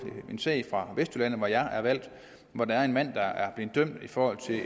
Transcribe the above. en sag fra vestjylland hvor jeg er valgt og hvor der er en mand der er blevet dømt for